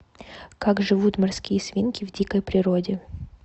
как живут морские свинки в дикой природе